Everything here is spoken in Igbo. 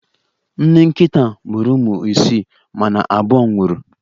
Nne nkịta a mụrụ ụmụ isii, mana abụọ nwụrụ.